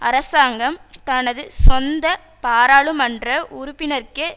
அரசாங்கம் தனது சொந்த பாராளுமன்ற உறுப்பினர்க்கே